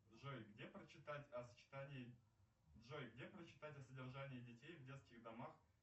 джой где прочитать о сочетании джой где прочитать о содержании детей в детских домах